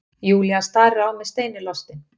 Júlía starir á mig steinilostin.